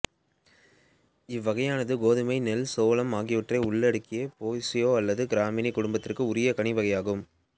இவ்வகையானது கோதுமை நெல் சோளம் ஆகியவற்றை உள்ளடக்கிய போயேஸி அல்லது கிராமினி குடும்பத்திற்கே உாிய கனி வகையாகும்